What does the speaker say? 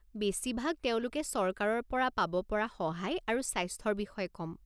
বেছিভাগ তেওঁলোকে চৰকাৰৰ পৰা পাব পৰা সহায় আৰু স্বাস্থ্যৰ বিষয়ে ক'ম।